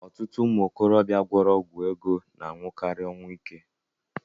Ọtụtụ ụmụ okorobịa gwọrọ ọgwụ ego na-anwụkari ọnwụ ike.